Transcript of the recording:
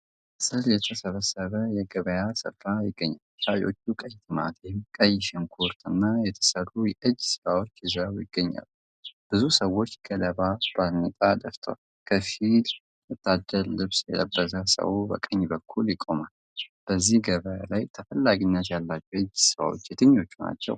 ጥላ ስር የተሰበሰበ የገበያ ሥፍራ ይገኛል። ሻጮች ቀይ ቲማቲም፣ ቀይ ሽንኩርት እና የተሠሩ የእጅ ሥራዎች ይዘው ይገኛሉ። ብዙ ሰዎች ገለባ ባርኔጣ ደፍተዋል። ከፊል ወታደራዊ ልብስ የለበሰ ሰው በቀኝ በኩል ይቆማል። በዚህ ገበያ ላይ ተፈላጊነት ያላቸው የእጅ ሥራዎች የትኞቹ ናቸው?